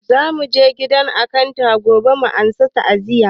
Za muje gidan akanta gobe a masa ta'aziya